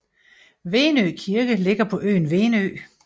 Venø Kirke ligger på øen Venø